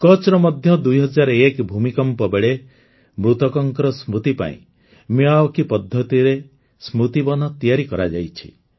କଚ୍ଛରେ ମଧ୍ୟ ୨୦୦୧ରେ ଭୂମିକମ୍ପ ବେଳେ ମୃତକଙ୍କ ସ୍ମୃତି ପାଇଁ ମିୟାୱାକି ପଦ୍ଧତିରେ ସ୍ମୃତିବନ ତିଆରି କରାଯାଇଛି